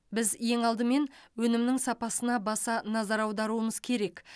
біз ең алдымен өнімнің сапасына баса назар аударуымыз керек